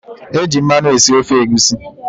Eji mmanụ esi ofe egusi.